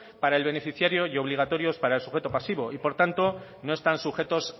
para el beneficiario y obligatorios para el sujeto pasivo y por tanto no están sujetos